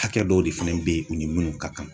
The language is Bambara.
Hakɛ dɔw de fɛnɛ bɛ yen u ni munnu ka kan.